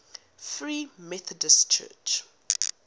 free methodist church